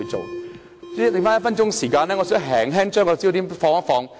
主席，餘下1分鐘時間，我想把焦點略為放大。